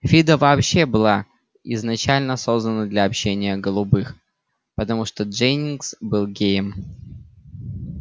фидо вообще была изначально создана для общения голубых потому что дженнингс был геем